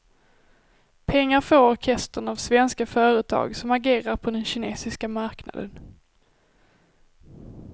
Pengar får orkestern av svenska företag som agerar på den kinesiska marknaden.